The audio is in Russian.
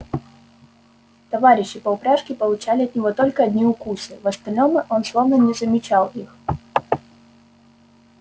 товарищи по упряжке получали от него только одни укусы в остальном он словно не замечал их